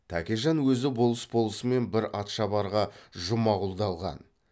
тәкежан өзі болыс болысымен бір атшабарға жұмағұлды алған